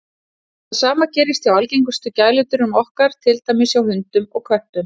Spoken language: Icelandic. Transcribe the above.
Það sama gerist hjá algengustu gæludýrum okkar, til dæmis hjá hundum og köttum.